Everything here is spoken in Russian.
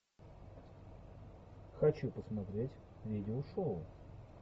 хочу посмотреть видеошоу